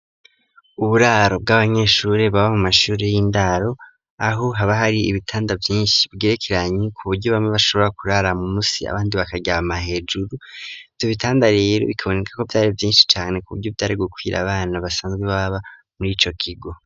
Uburaro bw'abanyeshuri baba mu mashuri y'indaro .Aho haba hari ibitanda vyinshi bwerekeranye ku buryo bamwe bashobora kurara mu musi abandi bakaryama hejuru vyo bitandarero bikaboneka ko vyari vyinshi cane ku buryo byari gukwira abana basanzwe baba muri ico kigo.